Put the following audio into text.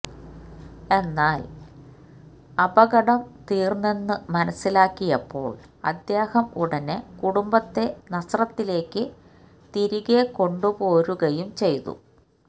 എന്നാല് അപകടം തീര്ന്നെന്നു മനസ്സിലാക്കിയപ്പോള് അദ്ദേഹം ഉടനെ കുടുംബത്തെ നസ്രത്തിലേയ്ക്കു തിരികെക്കൊണ്ടു പോരുകയും ചെയ്തു